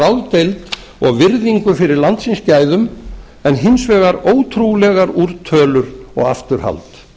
ráðdeild og virðingu fyrir landsins gæðum en hins vegar ótrúlegar úrtölur og afturhald